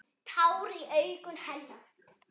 Tár í augum hennar.